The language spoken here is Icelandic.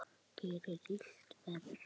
Gerir illt verra.